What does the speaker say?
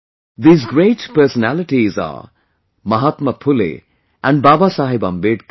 These great personalities are Mahatma Phule and Babasaheb Ambedkar